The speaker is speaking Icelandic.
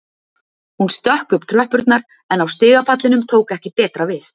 Hún stökk upp tröppurnar en á stigapallinum tók ekki betra við